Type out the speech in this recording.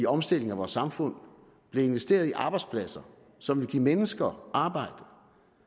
omstilling af vores samfund blev investeret i arbejdspladser som ville give mennesker arbejde